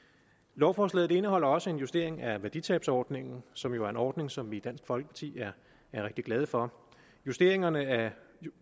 lovforslaget indeholder også en justering af værditabsordningen som jo er en ordning som vi i dansk folkeparti er rigtig glade for justeringerne af